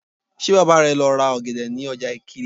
Ṣé Bàbá rẹ lọ ra ọ̀gẹ̀dẹ̀ ní ọjà Ìkirè?